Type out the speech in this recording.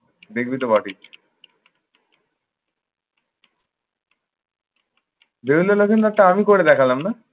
দেখবি তো বটেই। বেহুলা লখিন্দরটা আমি করে দেখালাম না?